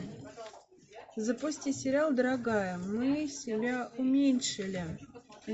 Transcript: запусти сериал дорогая мы себя уменьшили